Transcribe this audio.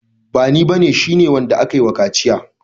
Bani ba ne, shi ne wanda akayi wa kaciya.